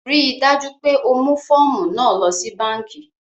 Ríì dájú pé o mú fọ̀ọ̀mú náà lọ sí bankí!